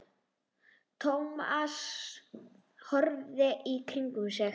Thomas horfði í kringum sig.